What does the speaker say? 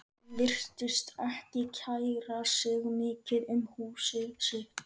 Hann virtist ekki kæra sig mikið um húsið sitt.